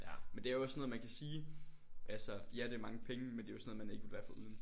Ja men det er jo også sådan noget man kan sige. Altså ja det er mange penge men det er jo sådan noget man ikke vill være foruden